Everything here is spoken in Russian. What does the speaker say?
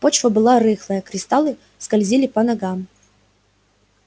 почва была рыхлая кристаллы скользили по ногам